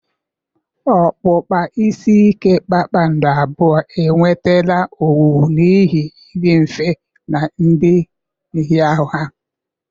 Okpukpa isi ike kpakpando abụọ enwetala owuwu n'ihi ịdị mfe na ịdị nhịahụ ha.